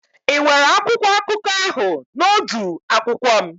Ị nwere akwụkwọ akụkọ ahụ na odu akwụkwọ m?